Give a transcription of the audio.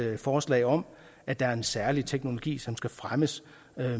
forslag om at der er en særlig teknologi som skal fremmes